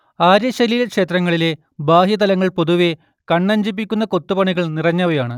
ആര്യശൈലിയിലെ ക്ഷേത്രങ്ങളിലെ ബാഹ്യതലങ്ങൾ പൊതുവെ കണ്ണഞ്ചിപ്പിക്കുന്ന കൊത്തുപണികൾ നിറഞ്ഞവയാണ്